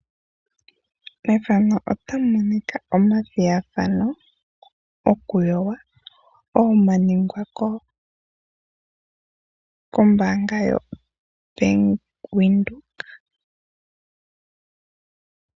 Methano otamu monika oma thigathano go ku yoga ngoka ga ningwa ko mbaanga yo bank Windhoek.